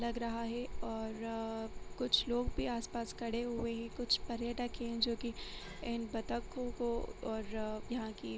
लग रहा है और कुछ लोग भी आसपास खड़े हुए है कुछ पर्यटक है जोकि इन बतखो को और यहां कि --